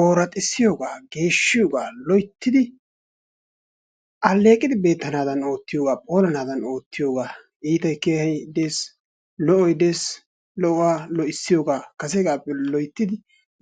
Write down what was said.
Ooraxissiyogaa, geeshshiyogaa loyttidi alleeqidi beettanaadan oottiyogaa phoolanaadan oottiyogaa iitayi kehayi des lo"oyi des lo"uwa lo"issiyogaa kaseegaappe loyttidi